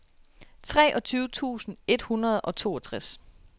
treogtyve tusind et hundrede og toogtres